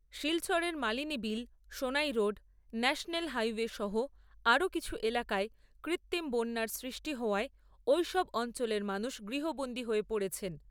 শিলচরের Malini Beel, Sonai road, national highway সহ আরো কিছু এলাকায় কৃত্রিম বন্যার সৃষ্টি হওয়ায় ঐসব অঞ্চলের মানুষ গৃহবন্দী হয়ে পড়েছেন।